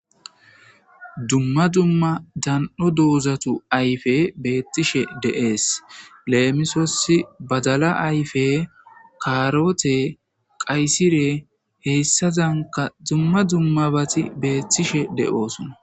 Dumma dumma dani'o doozatti ayfey bettishe de'es lemisos baddalla ayfe karoote qaysire hessazankka dumma dummabatti bettishe de'ossonna